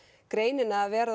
greinina að vera